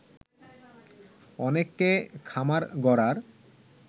অনেককে খামার গড়ার